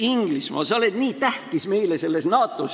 Inglismaa, sa oled nii tähtis meile NATO-s.